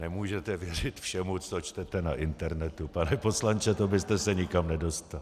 Nemůžete věřit všemu, co čtete na internetu, pane poslanče, to byste se nikam nedostal.